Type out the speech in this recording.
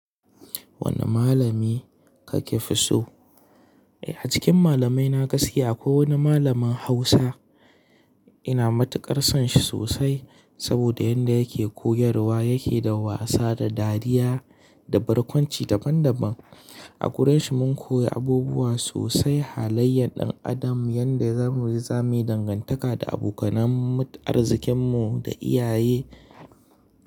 Wane malami kake fi so? A cikin malamai na gaskiya ko wani malamin Hausa. Ina matuƙar son shi sosai saboda yanda yake koyarwa yake da wasa da dariya da barkwanci daban daban. A gurinshi mun koyi abubuwa sosai halayyan ɗan adam yanda za mu yi zamani dangantaka da abokanan arzikin mu da iyaye.